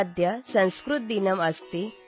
ಅದ್ಯ ಸಂಸ್ಕೃತ ದಿನಮ್ ಅಸ್ತಿ